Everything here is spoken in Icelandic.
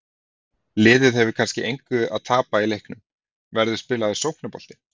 Liðið hefur kannski engu að tapa í leiknum, verður spilaður sóknarbolti?